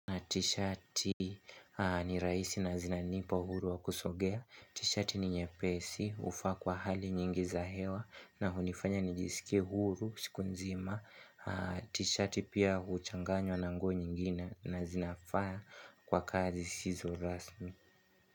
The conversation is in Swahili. T-shirt ni rahisi na zinanipa uhuru wa kusongea. T-shirt ni nyepesi hufaa kwa hali nyingi za hewa na hunifanya nijisikie huru siku nzima. T-shirt pia uchanganywa na nguo nyingine na zinafaa kwa kazi zisizorasmi.